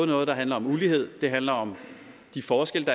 noget der handler om ulighed det handler om de forskelle